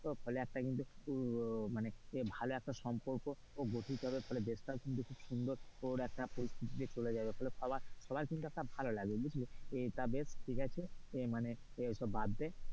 ফলে একটা কিন্তু মানে ভালো একটা সম্পর্ক গঠিত হবে ফলে দেশটাও কিন্তু সুন্দর একটা পরিস্থিতিতে চলে যাবে তাহলে সবাই সবার কিন্তু একটা ভালো লাগবে বুঝলে তো বেশ ঠিক আছে মানে এসব বাদ দে,